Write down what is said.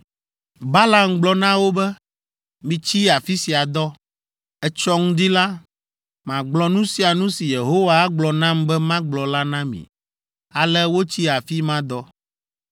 Balaam gblɔ na wo be, “Mitsi afi sia dɔ. Etsɔ ŋdi la, magblɔ nu sia nu si Yehowa agblɔ nam be magblɔ la na mi.” Ale wotsi afi ma dɔ.